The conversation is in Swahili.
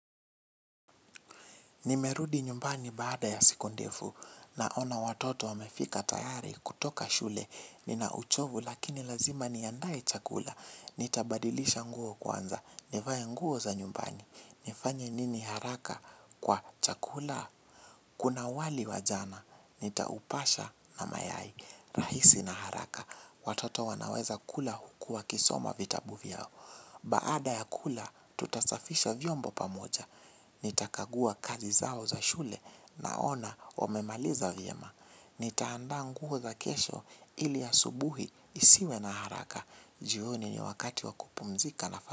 Nimerudi nyumbani baada ya siku ndefu naina watoto wamefika tayari kutoka shule. Nina uchovu lakini lazima niandae chakula. Nitabadilisha nguo kwanza. Nivae nguo za nyumbani. Nifanye nini haraka kwa chakula kuna wali wa jana. Nitaupasha na mayai. Rahisi na haraka. Watoto wanaweza kula huku wakisoma vitabu vyao. Baada ya kula tutasafisha vyombo pamoja. Nitakagua kazi zao za shule naona wamemaliza vyema. Nitaanda nguo za kesho ili asubuhi isiwe na haraka. Jioni ni wakati wa kupumzika na fana.